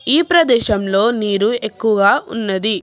ఈ ప్రదేశంలో నీరు ఎక్కువ ఉన్నది.